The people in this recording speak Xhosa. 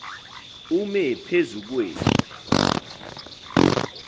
ume phezu kwethu